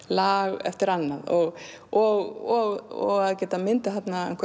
lag eftir annað og og að geta myndað